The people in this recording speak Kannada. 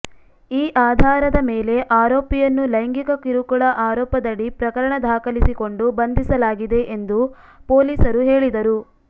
ಈ ಆಧಾರದ ಮೇಲೆ ಆರೋಪಿಯನ್ನು ಲೈಂಗಿಕ ಕಿರುಕುಳ ಆರೋಪದಡಿ ಪ್ರಕರಣ ದಾಖಲಿಸಿಕೊಂಡು ಬಂಧಿಸಲಾಗಿದೆ ಎಂದು ಪೊಲೀಸರು ಹೇಳಿದರು